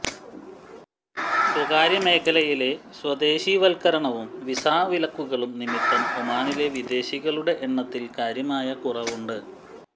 സ്വകാര്യ മേഖലയിലെ സ്വദേശിവത്കരണവും വിസാ വിലക്കുകളും നിമിത്തം ഒമാനിലെ വിദേശികളുടെ എണ്ണത്തിൽ കാര്യമായ കുറവുണ്ട്